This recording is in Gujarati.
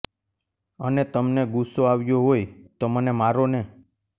અને તમને ગુસ્સો આવ્યો હોય તો મને મારો ને